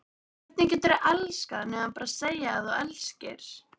Hvernig geturðu elskað nema segja að þú elskir?